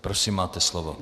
Prosím, máte slovo.